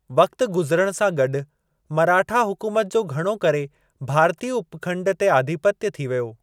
वक़्तु गुज़िरण सां गॾु, मराठा हुकूमत जो घणो करे भारतीय उपखंड ते आधिपत्य थी वियो।